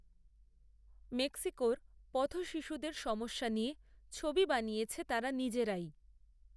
মেক্সিকোর পথশিশুদের সমস্যা নিয়ে, ছবি বানিয়েছে তারা নিজেরাই